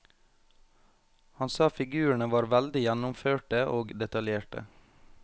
Han sa figurene var veldig gjennomførte og detaljerte.